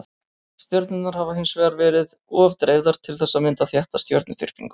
stjörnurnar hafa hins vegar verið of dreifðar til þess að mynda þétta stjörnuþyrpingu